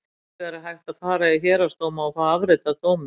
Hins vegar er hægt að fara í héraðsdóma og fá afrit af dómi.